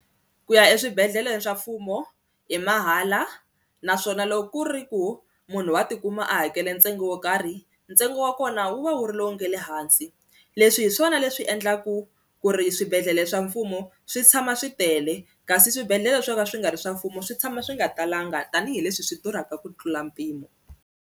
Ku ya eswibedhlele swa mfumo i mahala naswona loko ku ri ku munhu wa tikuma a hakele ntsengo wo karhi, ntsengo wa kona wu va wu ri lowu nga le hansi leswi hi swona leswi endlaku ku ri swibedhlele swa mfumo swi tshama swi tele kasi swibedhlele swo ka swi nga ri swa mfumo swi tshama swi nga talanga tanihileswi swi durhaka ku tlula mpimo.